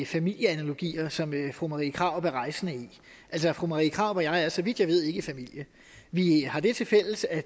familieanalogier som fru marie krarup er rejsende i altså fru marie krarup og jeg er så vidt jeg ved ikke i familie vi har det til fælles at